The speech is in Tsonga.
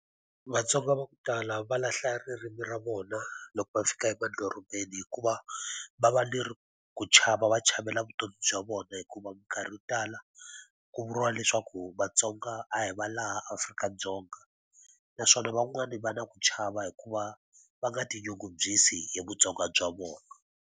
VaTsonga va ku tala va lahla ririmi ra vona loko va fika emadorobeni hikuva, va va ku chava va chavela vutomi bya vona. Hikuva minkarhi yo tala ku vuriwa leswaku vaTsonga a hi va laha Afrika-Dzonga. Naswona van'wani va na ku chava hikuva va nga tinyungubyisi hi vutsoniwa bya vona.